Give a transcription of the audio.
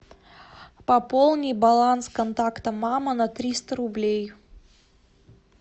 пополнить баланс контакта мама на триста рублей